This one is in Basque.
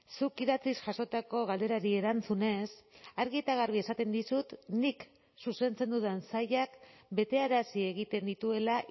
zuk idatziz jasotako galderari erantzunez argi eta garbi esaten dizut nik zuzentzen dudan sailak betearazi egiten dituela